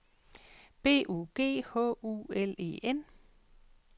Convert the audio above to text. B U G H U L E N